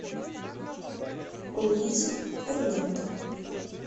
луиза фернанда